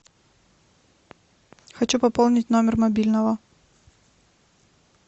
хочу пополнить номер мобильного